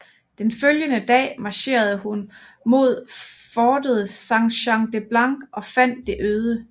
Den følgende dag marcherede hun mod fortet Saint Jean le Blanc og fandt det øde